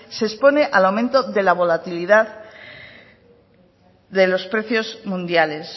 se expone al aumento de la volatilidad de los precios mundiales